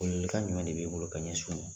Welewelekan jumɛn de bɛ e bolo ka ɲɛsin u ma